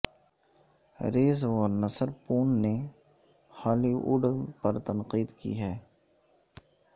raise ونسرپون نے Hollywood پر تنقید کی ہے